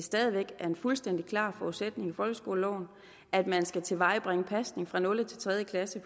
stadig væk er en fuldstændig klar forudsætning i folkeskoleloven at man skal tilvejebringe pasning fra nul til tredje klasse